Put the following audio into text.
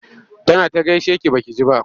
Tana ta gaishe ki ba ki ji ba.